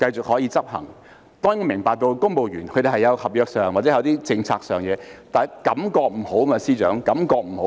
我們當然明白公務員會有期望，也有合約或政策上的事務，但感覺不好，司長，感覺不好。